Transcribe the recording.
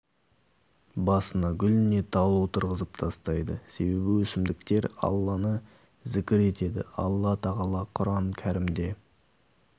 басына гүл не тал отырғызып тастайды себебі өсімдіктер алланы зікір етеді алла тағала құран кәрімде